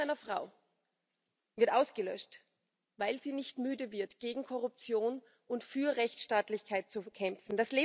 Das Leben einer Frau wird ausgelöscht, weil sie nicht müde wird, gegen Korruption und für Rechtsstaatlichkeit zu kämpfen.